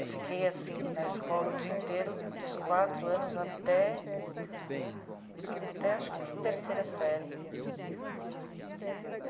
Eu fiquei assim na escola o dia inteiro, dos quatro anos até... até acho que a terceira série.